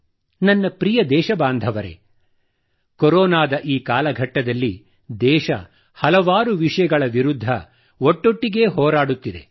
ನನ್ನ ಪ್ರಿಯ ದೇಶಬಾಂಧರೆ ಕೊರೊನಾದ ಈ ಕಾಲಘಟ್ಟದಲ್ಲಿ ದೇಶ ಹಲವಾರು ವಿಷಯಗಳ ವಿರುದ್ಧ ಒಟ್ಟೊಟ್ಟಿಗೇ ಹೋರಾಡುತ್ತಿದೆ